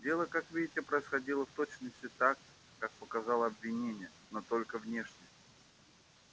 дело как видите происходило в точности так как показало обвинение но только внешне